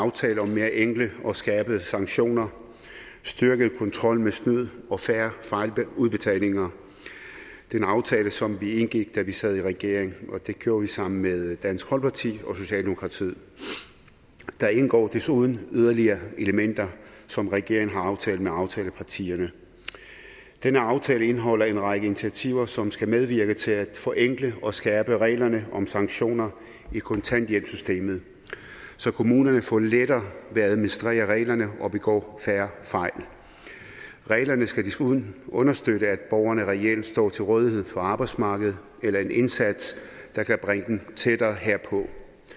aftale om mere enkle og skærpede sanktioner styrket kontrol med snyd og færre fejludbetalinger det er en aftale som vi indgik da vi sad i regering og det gjorde vi sammen med dansk folkeparti og socialdemokratiet der indgår desuden yderligere elementer som regeringen har aftalt med aftalepartierne denne aftale indeholder en række initiativer som skal medvirke til at forenkle og skærpe reglerne om sanktioner i kontanthjælpssystemet så kommunerne får lettere ved at administrere reglerne og begår færre fejl reglerne skal desuden understøtte at borgerne reelt står til rådighed for arbejdsmarkedet eller en indsats der kan bringe dem tættere herpå